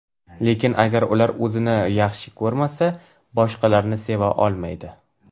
Lekin, agar ular o‘zini yaxshi ko‘rmasa, boshqalarni seva olmaydi.